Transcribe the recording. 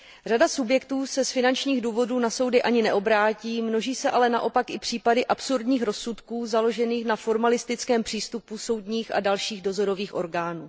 Řada subjektů se z finančních důvodů na soudy ani neobrátí, množí se ale naopak i případy absurdních rozsudků založených na formalistickém přístupu soudních a dalších dozorových orgánů.